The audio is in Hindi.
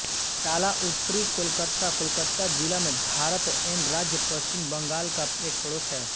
टाला उत्तरी कोलकाता कोलकाता जिला में भारत एन राज्य पश्चिम बंगाल का एक पड़ोस है